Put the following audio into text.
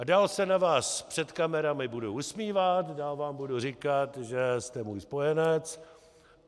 A dál se na vás před kamerami budu usmívat, dál vám budu říkat, že jste můj spojenec.